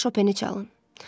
Mənə şopeni çalın.